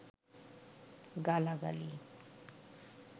গালা গালি